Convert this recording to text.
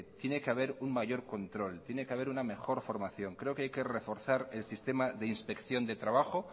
tiene que haber un mayor control tiene que haber una mejor formación creo que hay que reforzar el sistema de inspección de trabajo